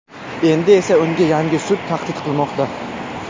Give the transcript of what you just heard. Endi esa unga yangi sud tahdid qilmoqda.